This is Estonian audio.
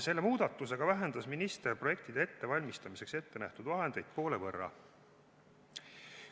Selle muudatusega vähendas minister projektide ettevalmistamiseks ette nähtud vahendeid poole võrra.